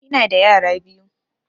Ina da yara biyu